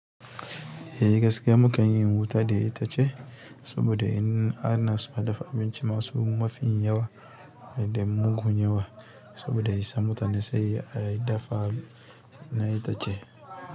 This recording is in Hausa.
Eh gaskiya mukan yi wuta dai ita ce, saboda in ana zuwa dafa abinci masu mafi yawa dai mugun yawa saboda yi sa mutane sai dai dafa na ita ce.